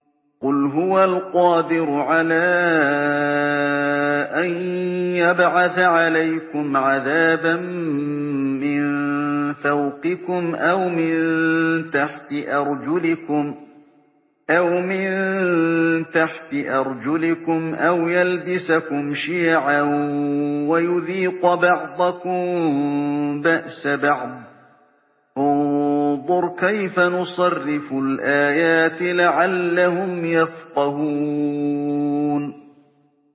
قُلْ هُوَ الْقَادِرُ عَلَىٰ أَن يَبْعَثَ عَلَيْكُمْ عَذَابًا مِّن فَوْقِكُمْ أَوْ مِن تَحْتِ أَرْجُلِكُمْ أَوْ يَلْبِسَكُمْ شِيَعًا وَيُذِيقَ بَعْضَكُم بَأْسَ بَعْضٍ ۗ انظُرْ كَيْفَ نُصَرِّفُ الْآيَاتِ لَعَلَّهُمْ يَفْقَهُونَ